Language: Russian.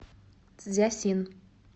цзясин